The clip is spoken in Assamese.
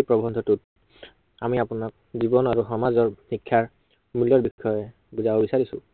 এই প্ৰৱন্ধটোত আমি আপোনাক জীৱন আৰু সমাজৰ শিক্ষাৰ, মূল্য়ৰ বিষয়ে বুজাব বিচাৰিছো।